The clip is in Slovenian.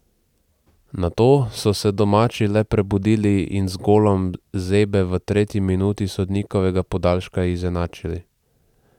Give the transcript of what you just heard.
Nato so se domači le prebudili in z golom Zebe v tretji minuti sodnikovega podaljška izenačili.